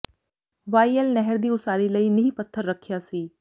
Y L ਨਹਿਰ ਦੀ ਉਸਾਰੀ ਲਈ ਨੀਂਹ ਪੱਥਰ ਰੱਖਿਆ ਸੀ